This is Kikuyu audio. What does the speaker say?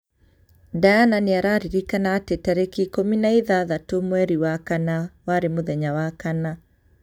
Diana nĩ araririkana atĩ tariki ikũmi na ithathatũ mweri wa kana warĩ mũthenya Wakana.